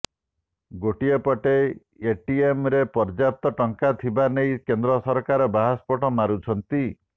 ଗୋଟିଏ ପଟେ ଏଟିଏମରେ ପଯ୍ୟାପ୍ତ ଟଙ୍କା ଥିବା ନେଇ କେନ୍ଦ୍ର ସରକାର ବାହାସ୍ପୋଟ ମାରୁଛନ୍ତି